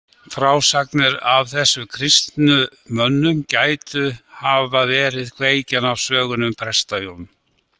Frásagnir af þessum kristnu mönnum gætu hafa verið kveikjan af sögunni um Presta-Jón.